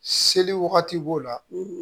Seli wagati b'o la